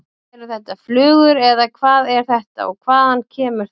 Eru þetta flugur eða hvað er þetta og hvaðan kemur þetta?